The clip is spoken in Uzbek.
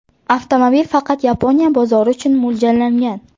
Avtomobil faqat Yaponiya bozori uchun mo‘ljallangan.